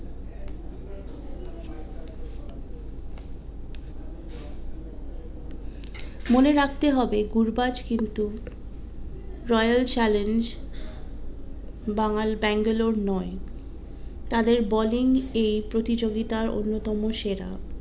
মনে রাখতে হবে গুরবাজ কিন্তু, রয়েল চ্যালঞ্জে বাঙ্গাল বেঙ্গালোর নয় তাদের bowling এই প্রতিযোগিতার অন্নতম সেরা